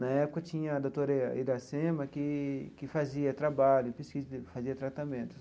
Na época tinha a doutora Iracema que que fazia trabalho, pesquisa, fazia tratamentos.